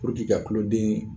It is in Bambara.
ka tuloden